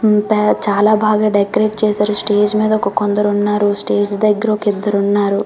హ్మ్మ్ చాల బాగా డెకరేట్ చేసారు స్టేజ్ మీద ఒక కొందరు ఉన్నారు స్టేజ్ దెగ్గర ఒక ఇద్దరు ఉన్నారు .